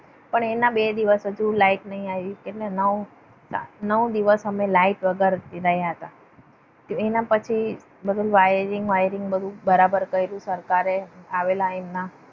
પણ એના બે દિવસ હજુ લાઈટ નહિ આવ્યું એટલે નવ દિવસ અમે લાઈટ વગર રહ્યા હતા. એના પછી બધું વાયરીંગ વાયરીંગ બધું બરાબર કર્યું સરકારે આવેલા એમના.